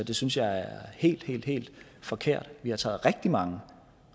det synes jeg er helt helt helt forkert vi har taget rigtig mange